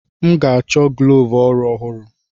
M ga-achọ gloves ọrụ ọhụrụ.